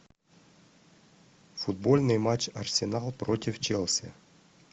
футбольный матч арсенал против челси